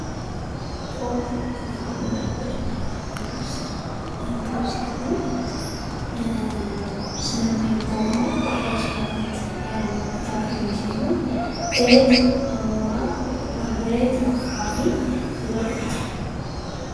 ኮክ ከፍራፍሬዎች መካከል ውስጥ አንዱ ሲሆን ስንመገበው ጣፋጭነት ያለው ፍራፍሬ ሲሆን በየት አካባቢ ይበቅላል ?